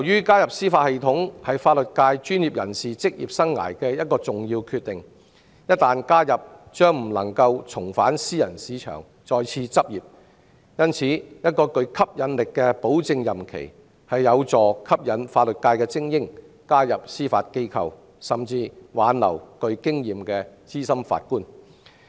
加入司法系統是法律界專業人士職業生涯的一個重要決定，一旦加入將不能重返私人市場再次執業，因此，一個具吸引力的保證任期，有助吸引法律界精英加入司法機構，亦可挽留具經驗的資深法官。